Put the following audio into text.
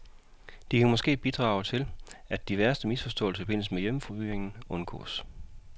De kan måske bidrage til, at de værste misforståelser i forbindelse med hjemmefyring undgås.